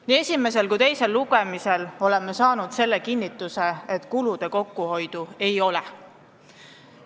Nii esimesel kui ka teisel lugemisel oleme saanud kinnituse, et kulude kokkuhoidu ei ole.